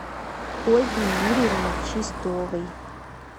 ольги юрьевны чистовой